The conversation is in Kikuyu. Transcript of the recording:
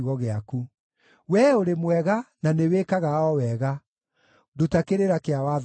Wee ũrĩ mwega, na nĩwĩkaga o wega; nduta kĩrĩra kĩa watho waku.